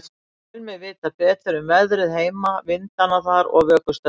Tel mig vita betur um veðrið heima, vindana þar og vökustaurana.